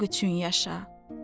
Bu sınaq üçün yaşa.